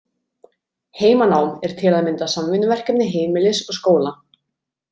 Heimanám er til að mynda samvinnuverkefni heimilis og skóla.